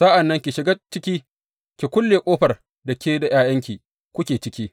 Sa’an nan ki shiga ciki, ki kulle ƙofar da ke da ’ya’yanki kuke ciki.